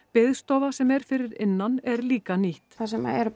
biðstofa sem er fyrir innan er líka nýtt þar sem eru